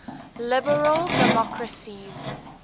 liberal democracies